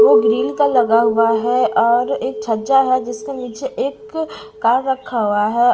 वह ग्रिल का लगा हुआ है और एक छज्जा है जिसके नीचे एक कार रखा हुआ है।